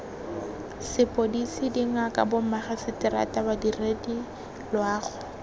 sepodisi dingaka bomagiseterata badiredi loago